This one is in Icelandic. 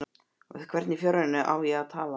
Við hvern í fjáranum á ég að tala?